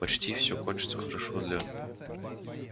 почти все кончится хорошо для